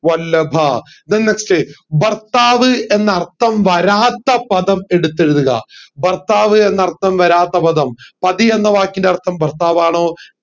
വല്ലഭ then next ഭർത്താവ് എന്ന അർഥം വരാത്ത പദം എടുത്തെഴുതുക ഭർത്താവ് എന്ന അർഥം വരാത്ത പദം പതി എന്ന വാക്കിൻറെ അർഥം ഭർത്താവ് ആണോ